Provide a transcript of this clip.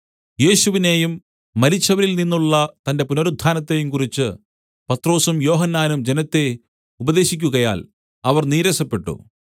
യേശുവിനേയും മരിച്ചവരിൽ നിന്നുള്ള തന്റെ പുനരുത്ഥാനത്തെയും കുറിച്ച് പത്രൊസും യോഹന്നാനും ജനത്തെ ഉപദേശിക്കുകയാൽ അവർ നീരസപ്പെട്ടു